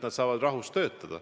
Nad saavad rahus töötada.